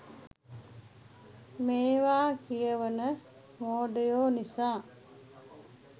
මේවා කියවන මෝඩයෝ නිසා